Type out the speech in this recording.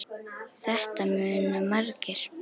Þetta muna margir.